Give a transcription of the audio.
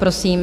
Prosím.